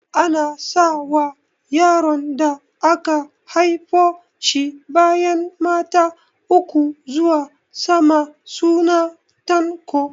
Ana sa wa yaron da aka haifo shi bayan mata uku zuwa sama suna Tanko